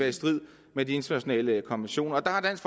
i strid med de internationale konventioner der har dansk